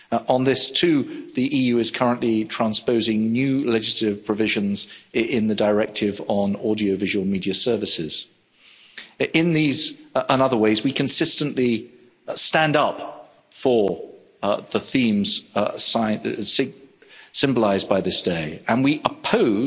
On this too, the EU is currently transposing new legislative provisions in the Directive on Audiovisual Media Services. In these and other ways, we consistently stand up for the themes symbolised by this day, and we oppose,